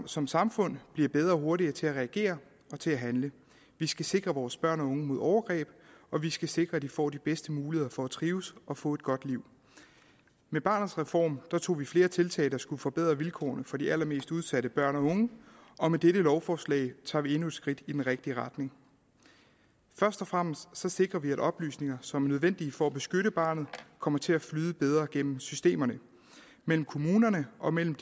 som samfund bliver bedre og hurtigere til at reagere og til at handle vi skal sikre vores børn og unge mod overgreb og vi skal sikre at de får de bedste muligheder for at trives og få et godt liv med barnets reform tog vi flere tiltag der skulle forbedre vilkårene for de allermest udsatte børn og unge og med dette lovforslag tager vi endnu et skridt i den rigtige retning først og fremmest sikrer vi at oplysninger som er nødvendige for at beskytte barnet kommer til at flyde bedre gennem systemerne mellem kommunerne og mellem